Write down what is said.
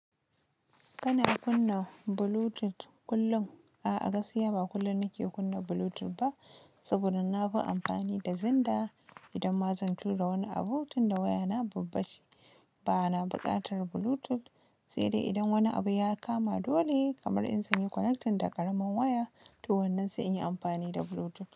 Kana kunna Bluetooth kullum? Aa gaskiya ba kullum nake kunna Bluetooth ba, sabida nafi anfani da xender idan ma zan tura wani abu tinda wayata babba ce ba na buƙatar Bluetooth, sai dai idan wani abu ya kama dole kamar in zanyi connecting da ƙaramar waya, to wannan sai in yi amfani da Bluetooth.